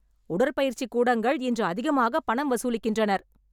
உடற்பயிற்சி கூடங்கள் இன்று அதிகமாக பணம் வசூலிக்கின்றனர்.